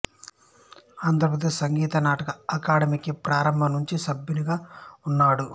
ఆంధ్రప్రదేశ్ సంగీత నాటక అకాడమీకి ప్రారంభం నుంచి సభ్యునిగా ఉన్నాడు